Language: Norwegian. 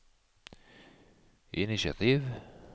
initiativ